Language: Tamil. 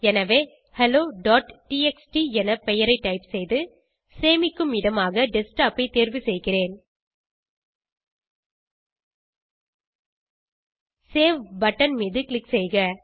எனவே helloடிஎக்ஸ்டி என பெயரை டைப் செய்து சேமிக்கும் இடமாக டெஸ்க்டாப் ஐ தேர்வு செய்கிறேன் சேவ் பட்டன் மீது க்ளிக் செய்க